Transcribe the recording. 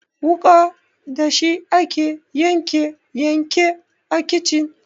Wuƙa dashi ake yanke yanke a kicin.